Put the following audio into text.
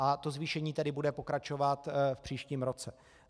A to zvýšení tedy bude pokračovat v příštím roce.